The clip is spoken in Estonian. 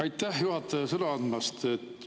Aitäh, juhataja, sõna andmast!